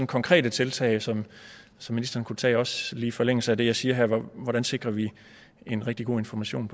konkrete tiltag som ministeren kunne tage også i forlængelse af det jeg siger her hvordan sikrer vi en rigtig god information